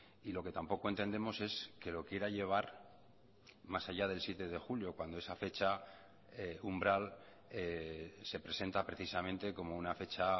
y lo que tampoco entendemos es que lo quiera llevar más allá del siete de julio cuando esa fecha umbral se presenta precisamente como una fecha